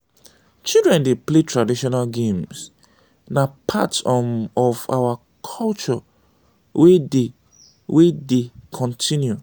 children dey play traditional games; na part um of our culture wey dey wey dey continue.